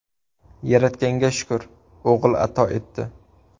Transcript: Yaratganga shukur, o‘g‘il ato etdi.